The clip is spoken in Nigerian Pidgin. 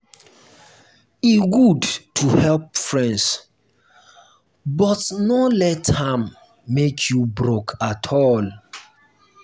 e good to help friends but no let am make you broke at all.